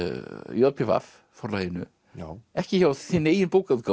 j p v Forlaginu ekki hjá þinni eigin bókaútgáfu